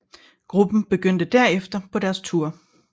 Gruppen begyndte derefter på deres tour